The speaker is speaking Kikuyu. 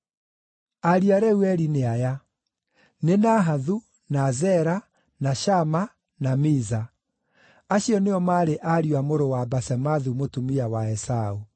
Ariũ a Reueli nĩ aya: nĩ Nahathu, na Zera, na Shama, na Miza. Acio nĩo maarĩ ariũ a mũrũ wa Basemathu mũtumia wa Esaũ.